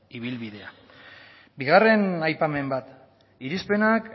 ibilbidea bigarren aipamen bat irizpenak